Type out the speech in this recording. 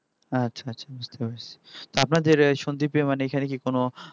আচ্ছা আচ্ছা বুজতে পেরেছি আপনাদের সন্দ্বীপে মানে এখানে কি কোন